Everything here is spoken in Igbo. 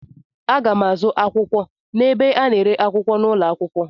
Aga m azụ akwụkwọ n'ebe a na-ere akwụkwọ n'ụlọ akwụkwọ.